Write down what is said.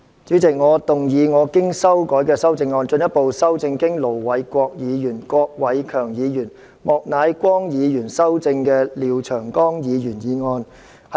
主席，我動議我經修改的修正案，進一步修正經盧偉國議員、郭偉强議員及莫乃光議員修正的廖長江議員議案。